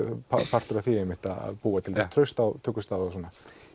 partur af því einmitt að búa til traust á tökustað og svona